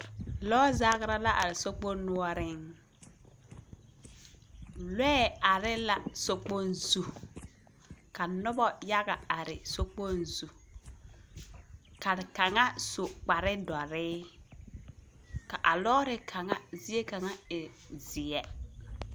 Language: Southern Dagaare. Lɔɔ zagra la are sokpoŋ noɔreŋ. Lɔɛ are la sokpoŋ zu. Ka noba yaga are sokpoŋ zu, ka kaŋa su kpare dɔre. Ka a lɔɔre kaŋa zie kaŋa e zeɛ.